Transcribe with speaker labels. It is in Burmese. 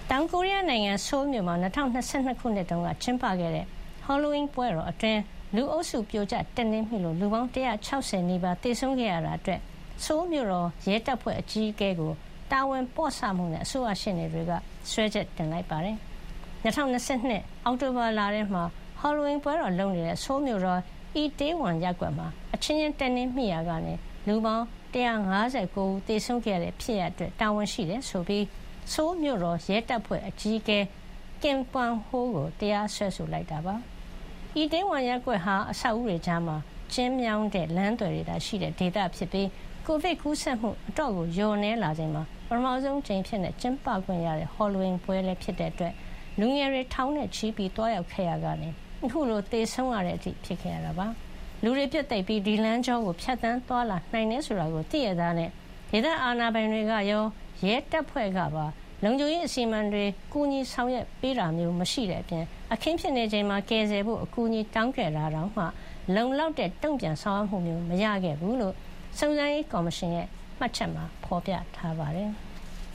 Speaker 1: တောင်ကိုရီးယားနိုင်ငံ ဆိုးလ်မြို့မှာ ၂၀၂၂ ခုနှစ်တုန်းက ကျင်းပခဲ့တဲ့ Halloween ပွဲတော်အတွင်း ၊ လူအုပ်စု ပြိုကျ တက်နင်းမိလို့ လူပေါင်း ၁၆၀ နီးပါး သေဆုံးခဲ့ရတာအတွက် ဆိုးလ်မြို့တော် ရဲတပ်ဖွဲ့အကြီးအကဲကို တာဝန်ပေါ့ဆမှုနဲ့ အစိုးရ ရှေ့နေတွေက စွဲချက် တင်လိုက်ပါတယ်။ ၂၀၂၂ အောက်တိုဘာလထဲ Halloween ပွဲတော်လုပ်နေတဲ့ ဆိုးလ်မြို့တော် အီတေးဝမ် Itaewon ရပ်ကွက်မှာ အချင်းချင်း တက်နင်းမိရာက ၊ လူ( ၁၅၉ )ဦး သေဆုံးခဲ့တဲ့ ဖြစ်ရပ်အတွက် တာဝန်ရှိတယ်ဆိုပြီး ဆိုးလ်မြို့တော် ရဲတပ်ဖွဲ့အကြီးအကဲ Kim Kwang-ho ကင်မ်ကွမ်ဟိုးကို တရားစွဲလိုက်တာ ဖြစ်ပါတယ်။ အီတေးဝမ် ရပ်ကွက်ဟာ အဆောက်အဦးတွေကြား ၊ ကျဥ်းမြောင်းတဲ့ လမ်းသွယ်တွေသာ ရှိတဲ့ ဒေသဖြစ်ပြီး ကိုဗစ် ကူးစက်မှု အတော်ကို လျော့နည်းလာချိန်မှာ ပထမဆုံး ကျင်းပခွင့်ရတဲ့ Halloween ပွဲလည်း ဖြစ်တာကြောင့် လူငယ်တွေ ထောင်နဲ့ချီ သွားရောက်ခဲ့ရာက ခုလို သေဆုံးတဲ့အထိ ဖြစ်ခဲ့ရတာပါ။။ လူတွေ ပြွတ်သိပ်ပြီး ဒီလမ်းကြောကို ဖြတ်သန်းသွားလာနိုင်တယ်ဆိုတာ သိလျက်သားနဲ့ ဒေသ အာဏာပိုင်တွေရော ရဲတပ်ဖွဲ့ကပါ လုံခြုံရေး အစီအမံတွေ ကူညီဆောင်ရွက် ပေးခဲ့တာမျိုး မရှိတဲ့အပြင် ၊ အခင်းဖြစ်နေချိန်မှာ ကယ်ဆယ်ပေးဖို့ အကူအညီ တောင်းခဲ့တာတောင်မှ လုံလောက်တဲ့ တုံ့ပြန်ဆောင်ရွက်မှုမျိုး မရခဲ့ဘူးလို့ စုံစမ်းရေးကော်မရှင်ရဲ့ မှတ်ချက်မှာ ဖေါ်ပြပါတယ်။